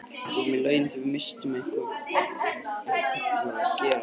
Við vorum í lauginni og vissum ekki hvað var að gerast, sagði ég máttleysislega.